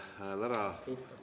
Hääl ära?